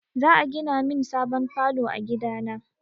Za a gina min sabon falo a gida na.